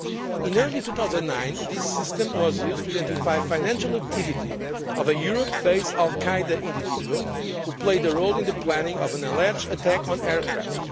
In early 2009, this system was used to identify the financial activity of a Europe based al Qaeda individual who played a role in the planning of an alleged attack on aircraft.